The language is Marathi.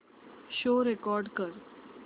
शो रेकॉर्ड कर